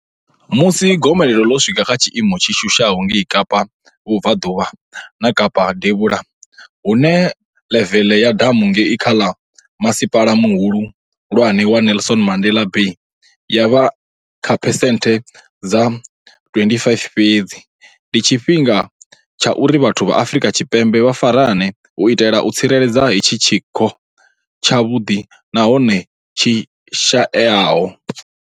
Musi gomelelo ḽo swika kha tshiimo tshi shushaho ngei Kapa Vhubvaḓuvha na Kapa Devhula, hune ḽeveḽe ya damu ngei kha Masipala Muhulwane wa Nelson Mandela Bay ya vha kha phesenthe dza 25 fhedzi, ndi tshifhinga tsha uri vhathu vha Afrika Tshipembe vha farane u itela u tsireledza hetshi tshiko tshavhuḓi na hone tshishaeaho.